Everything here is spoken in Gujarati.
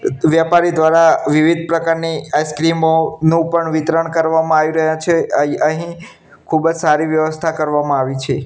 વ્યાપારી દ્વારા વિવિધ પ્રકારની આઇસ્ક્રીમો નું પણ વિતરણ કરવામાં આવી રહ્યા છે અય અહીં ખૂબજ સારી વ્યવસ્થા કરવામાં આવી છે.